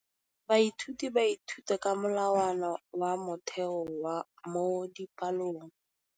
Baithuti ba ithuta ka molawana wa motheo mo dipalong.